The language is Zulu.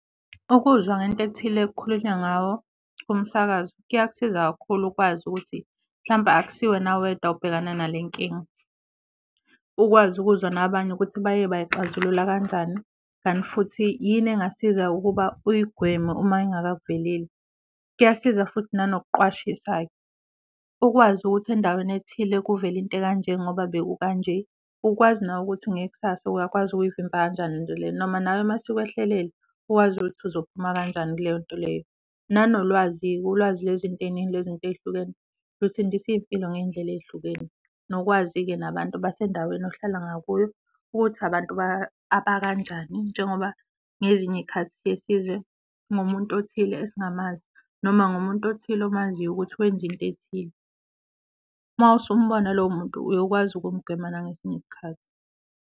Ukuzwa ngento ethile ekukhulunywa ngawo kumsakazo kuyakusiza kakhulu ukwazi ukuthi mhlampe akusiwena wedwa obhekana nale nkinga, ukwazi ukuzwa nabanye ukuthi baye bayixazulula kanjani kanti futhi yini engasiza ukuba uyigweme uma ingaka kuveleli. Kuyasiza futhi nanokuqwashisa-ke, ukwazi ukuthi endaweni ethile kuvele into ekanje ngoba bekukanje, ukwazi nawe ukuthi ngekusasa uyakwazi ukuyivimba kanjani le nto lena, noma nawe mayisikwehlelele uwazi ukuthi uzophuma kanjani kuleyo nto leyo. Nanolwazi-ke, ulwazi lwezinto ey'ningi lwezinto ey'hlukene lusindisa iy'mpilo ngey'ndlela ey'hlukene. Nokwazi-ke nabantu basendaweni ohlala ngakuyo ukuthi abantu abakanjani njengoba ngezinye iy'khathi siye sizwe ngomuntu othile esingamazi noma ngomuntu othile omaziyo ukuthi wenza into ethile, masumbona lowo muntu uyokwazi ukumgwema nangesinye isikhathi.